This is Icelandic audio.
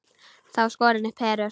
Þá var skorin upp herör.